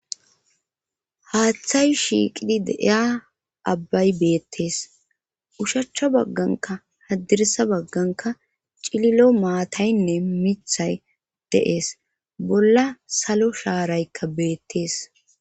Haaththay shiiqidi deiya abbay beettees ushachcha bagganka haddirisa bagganka cililo maataynne mithay deees bolla salo shaaraykka beettees.